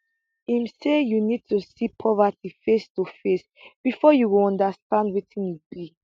im say you need to see poverty face to face bifor you go understand wetin e be